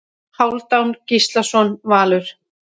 Hálfdán Gíslason Valur